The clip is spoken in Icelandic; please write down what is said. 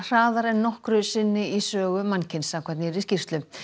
hraðar en nokkru sinni í sögu mannkyns samkvæmt nýrri skýrslu